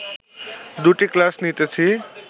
দুটি ক্লাস নিতেছি